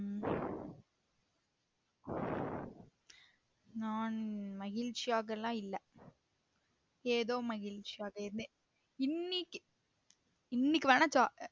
உம் நான் மகிழ்ச்சியாக இல்ல ஏதோ மகிழ்ச்சியாக இருந்தேன் இன்னிக்கி இன்னிக்கி வேணா